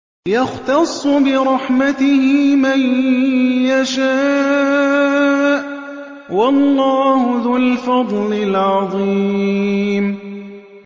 يَخْتَصُّ بِرَحْمَتِهِ مَن يَشَاءُ ۗ وَاللَّهُ ذُو الْفَضْلِ الْعَظِيمِ